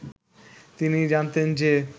তিনি জানতেন যে